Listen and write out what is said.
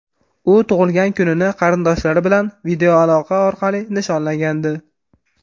U tug‘ilgan kunini qarindoshlari bilan videoaloqa orqali nishonlagandi .